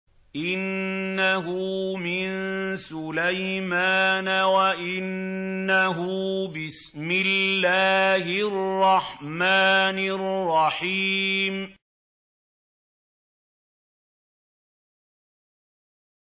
إِنَّهُ مِن سُلَيْمَانَ وَإِنَّهُ بِسْمِ اللَّهِ الرَّحْمَٰنِ الرَّحِيمِ